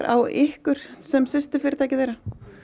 á ykkur sem systurfyritæki þeirra